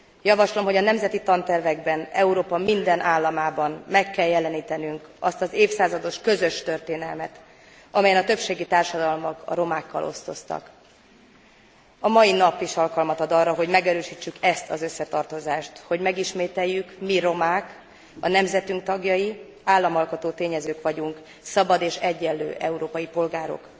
Javaslom, hogy a nemzeti tantervekben Európa minden államában meg kell jelenítenünk azt az évszázados közös történelmet, amelyen a többségi társadalmak a romákkal osztoztak. A mai nap is alkalmat ad arra, hogy megerősítsük ezt az összetartozást, hogy megismételjük, mi romák, a nemzetünk tagjai, államalkotó tényezők vagyunk, szabad és egyenlő európai polgárok.